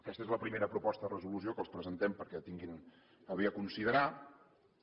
aquesta és la primera proposta de resolució que els presentem perquè tinguin a bé considerar la